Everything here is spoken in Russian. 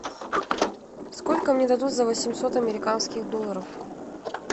сколько мне дадут за восемьсот американских долларов